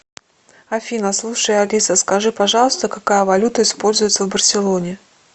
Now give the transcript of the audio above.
афина слушай алиса скажи пожалуйста какая валюта используется в барселоне